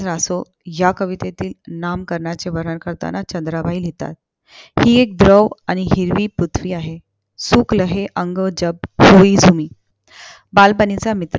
आसो ह्या कवितेतील नाम करण्याचे वर्णन करताना, चंद्राबाई लिहितात हि ऐक द्रव आणि हिरवी पृथ्वी आहे. बालपणीचा मित्र